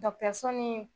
ni